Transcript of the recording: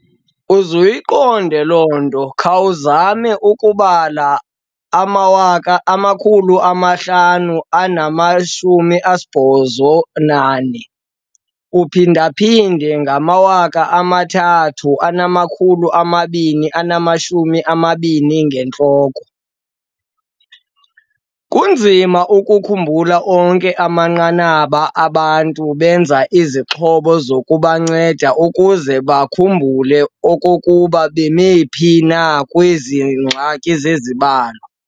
Uzuyiqonde loo nto, khawuzame ukubala u-584 x 3,220 ngentloko. kunzima ukukhumbula onke amanqanaba! Abantu benza izixhobo zokubanceda ukuze bakhumbule okokuba bebemi phi na kwezi ngxaki zezibalo.